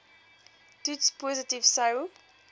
toets positief sou